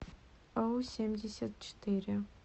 оу семьдесят четыре